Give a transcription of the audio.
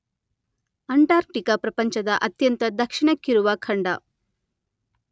Antarctica ಪ್ರಪಂಚದ ಅತ್ಯಂತ ದಕ್ಷಿಣಕ್ಕಿರುವ ಖಂಡ.